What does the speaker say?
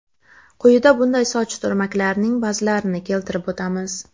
Quyida bunday soch turmaklarining ba’zilarini keltirib o‘tamiz.